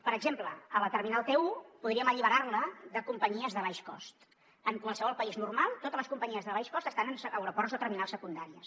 per exemple la terminal t1 podríem alliberar la de companyies de baix cost en qualsevol país normal totes les companyies de baix cost estan en aeroports o terminals secundàries